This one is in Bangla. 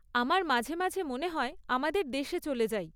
আমার মাঝে মাঝে মনে হয়, আমাদের দেশে চলে যাই।